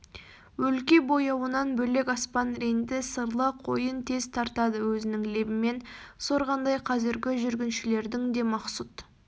өлке бояуынан бөлек аспан ренді сырлы қойын тез тартады өзінің лебімен сорғандай қазіргі жүргіншілердің де мақсұт